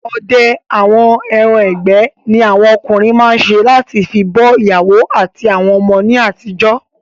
Odẹ àwọn ẹran ìgbẹ́ ni awọn okùnrin máa n se lati fi bọ́ ìyàwó àti ọmọ ní àtijọ́